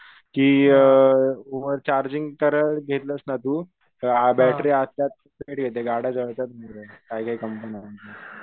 कि अअ over charging करायला घेतलास ना तू बॅटरी आपोआप पेट घेते गाड्या जळतात काही काही कंपन्या